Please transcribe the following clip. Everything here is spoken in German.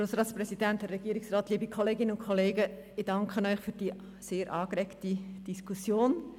Ich danke Ihnen für die sehr angeregte Diskussion.